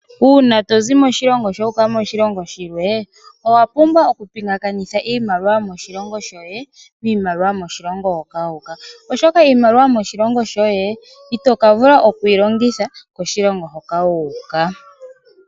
Uuna tozi moshilongo shoye wuuka moshilongo shilwe owa pumbwa oku pingakanitha iimaliwa yomoshilongo shoye miimaliwa yomoshilongo hoka wuuka ,oshoka iimaliwa yomoshilongo shoye ito ka vula okuyi longitha koshilongo hoka wuuka.